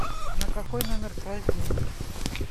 на какой номер класть деньги